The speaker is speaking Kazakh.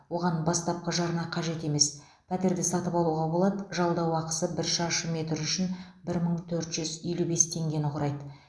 оған бастапқы жарна қажет емес пәтерді сатып алуға болады жалдау ақысы бір шаршы метр үшін бір мың төрт жүз елу бес теңгені құраиды